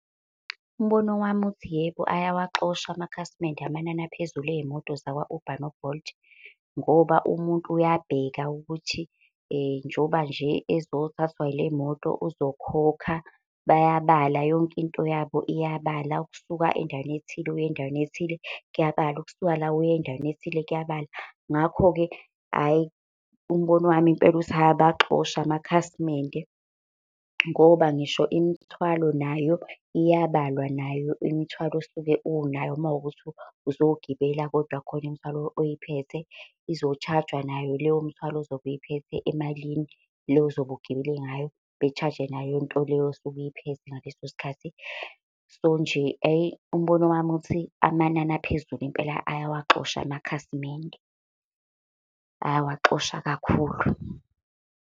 Umbono wami uthi, yebo ayawaxosha amakhasimende amanani aphezulu ka-Uber no-Bolt. Ngoba umuntu uyabheka ukuthi njoba nje ezothathwa ile moto uzokhokha, bayabala yonke into yabo iyabala. Ukusuka endaweni ethile uya endaweni ethile kuyabala, ukusuka la uye endaweni ethile, kuyabala. Ngakho-ke hhayi, umbono wami impela uthi ayabaxosha amakhasimende. Ngoba ngisho imithwalo nayo iyabalwa nayo imithwalo osuke unayo uma kuwukuthi uzogibela kodwa khona imithwalo oyiphethe izo-charge-wa nayo leyo mthwalo ozobe uyiphethe emalini le ozobe ugibele ngayo, be-charge-e nale into leyo suke uy'phethe ngaleso sikhathi. So nje hhayi umbono wami uthi amanani aphezulu impela ayawaxosha amakhasimende. Ayawaxosha kakhulu.